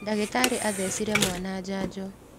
Ndagĩtarĩ athecire mwana njanjo.